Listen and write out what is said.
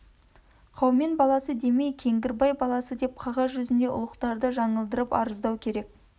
қаумен баласы демей кеңгірбай баласы деп қағаз жүзінде ұлықтарды жаңылдырып арыздау керек